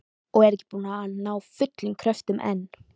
Og er ekki búin að ná fullum kröftum enn.